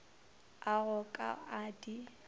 a go ka a di